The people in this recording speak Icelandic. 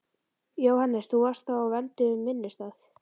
Jóhannes: Þú varst þá á vernduðum vinnustað?